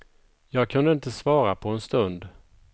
Jag kunde inte svara på en stund.